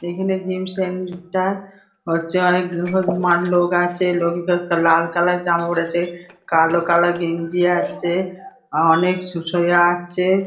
এখানে gyms centre. বর্তমানে লোক আছে। লোকেকার লাল কালার জামা পরেছে। কালো কালার গেঞ্জি আছে। অনেক সু শুয়ে আছে।